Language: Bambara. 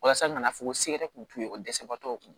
Walasa ka na fɔ ko segu yɛrɛ kun t'u ye o dɛsɛbagatɔw